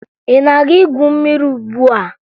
Ị na-aga igwu mmiri ugbua?